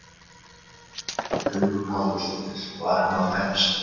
Hugrún Halldórsdóttir: Var hann að fæðast?